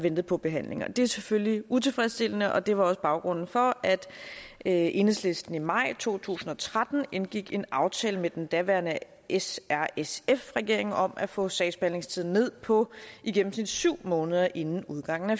ventet på behandling det er selvfølgelig utilfredsstillende og det var også baggrunden for at enhedslisten i maj to tusind og tretten indgik en aftale med den daværende s r sf regering om at få sagsbehandlingstiden ned på i gennemsnit syv måneder inden udgangen af